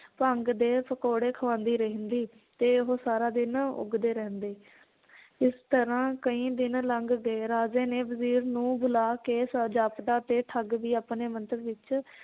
ਭੰਗ ਦੇ ਪਕੌੜੇ ਖਵਾਂਦੀ ਰਹਿੰਦੀ ਤੇ ਉਹ ਸਾਰਾ ਦਿਨ ਉੱਗਦੇ ਰਹਿੰਦੇ ਇਸ ਤਰਾਂ ਕਈ ਦਿਨ ਲੰਘ ਗਏ ਰਾਜੇ ਨੇ ਵਜ਼ੀਰ ਨੂੰ ਬੁਲਾ ਕੇ ਜਾਪਦਾ ਤੇ ਠੱਗ ਵੀ ਆਪਣੇ ਮੰਤਵ ਵਿਚ